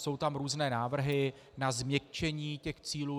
Jsou tam různé návrhy na změkčení těch cílů.